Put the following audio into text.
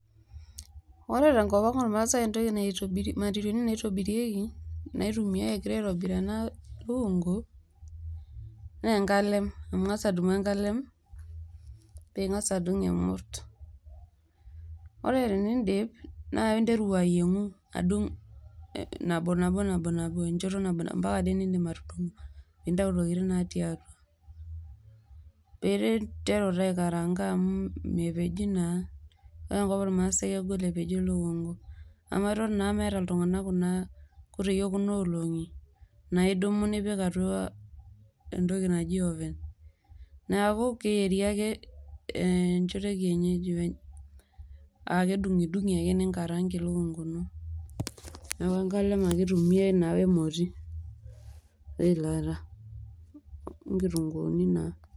ore entoki nikintumia iyiok tengopang' oo maasai atobirie ena lukungu nidung' tengalem orgos ,nidung inkutitik niyier ,intumia emoti ningarang nipik eilata niyier mewo aitobiraki.